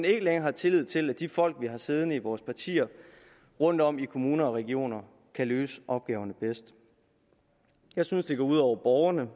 ikke længere er tillid til at de folk vi har siddende i vores partier rundtom i kommuner og regioner kan løse opgaverne bedst jeg synes det går ud over borgerne